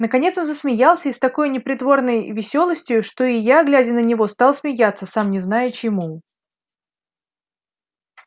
наконец он засмеялся и с такою непритворной веселостию что и я глядя на него стал смеяться сам не зная чему